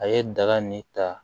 A ye daga nin ta